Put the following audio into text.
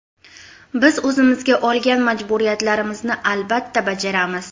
Biz o‘zimizga olgan majburiyatlarimizni albatta bajaramiz.